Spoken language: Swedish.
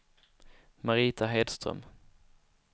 Marita Hedström